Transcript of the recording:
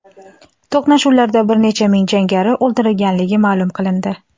To‘qnashuvlarda bir necha ming jangari o‘ldirilganligi ma’lum qilindi.